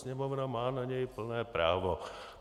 Sněmovna má na něj plné právo.